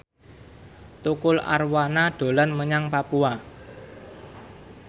Tukul Arwana dolan menyang Papua